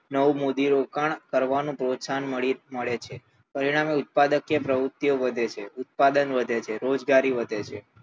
નવું મૂડીરોકાણ કરવાનું પ્રોત્સાહન મળે છે પરિણામે ઉત્પાદકીય પ્રવૃત્તિઓ વધે છે ઉત્પાદન વધે છે રોજગારી વધે છે